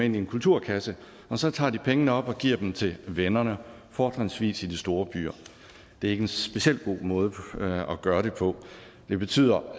ind i en kulturkasse og så tager de pengene op og giver dem til vennerne fortrinsvis i de store byer det er ikke en specielt god måde at gøre det på det betyder